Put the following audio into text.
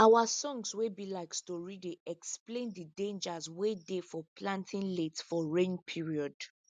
our songs wey be like stori dey explain de dangers wey dey for planting late for rain period